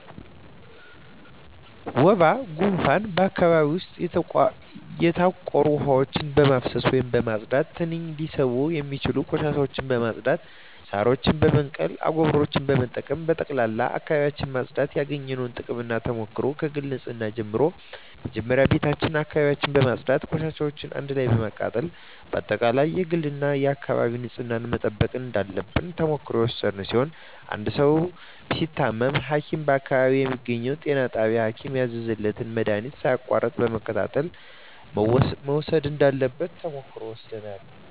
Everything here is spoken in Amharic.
ወባ ጉንፋን በአካባቢው ዉስጥ የተቋሩ ዉሀዎችን በማፋሰስ ወይም በማፅዳት ትንኝ ሊስቡ የሚችሉ ቆሻሻዎችን በማፅዳት ሳሮችን በመንቀል አጎበሮችን በመጠቀም በጠቅላላ አካባቢዎችን ማፅዳት ያገኘነዉ ጥቅምና ተሞክሮ ከግል ንፅህና ጀምሮ መጀመሪያ ቤታችን አካባቢያችን በማፅዳት ቆሻሻዎችን አንድ ላይ በማቃጠል በአጠቃላይ የግልና የአካባቢ ንፅህናን መጠበቅ እንዳለብን ተሞክሮ የወሰድን ሲሆን አንድ ሰዉ ሲታመም ሀኪም በአካባቢው በሚገኘዉ ጤና ጣቢያ ሀኪም ያዘዘለትን መድሀኒት ሳያቋርጥ በመከታተል መዉሰድ እንዳለበት ተሞክሮ ወስደናል